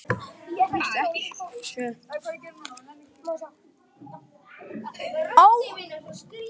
Komst ekki.